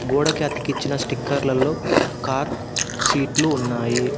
గోడకి అతికించిన స్టిక్కర్లలో కార్ సీట్లు ఉన్నాయి.